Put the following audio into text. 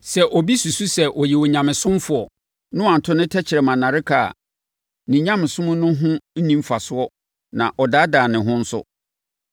Sɛ obi susu sɛ ɔyɛ Onyamesomfoɔ na wanto ne tɛkrɛma nnareka a, ne nyamesom no ho nni mfasoɔ na ɔdaadaa ne ho nso.